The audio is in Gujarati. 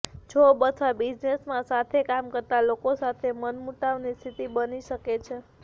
જોબ અથવા બિઝનેસમાં સાથે કામ કરતાં લોકો સાથે મનમુટાવની સ્થિતિ બની શકે છે